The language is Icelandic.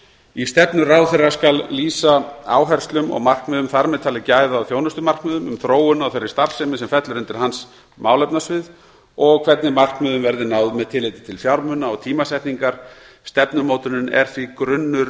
í stefnu ráðherra skal lýsa áherslum og markmiðum þar með talið gæða og þjónustumarkmiðum um þróun á þeirri starfsemi sem fellur undir málefnasvið hans og hvernig markmiðum verði náð með tilliti til fjármuna og tímasetningar stefnumótunin er því grunnur